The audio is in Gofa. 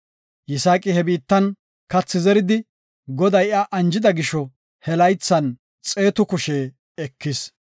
Yisaaqi he biittan kathi zeridi, Goday iya anjida gisho he laythan xeetu kushe ekis.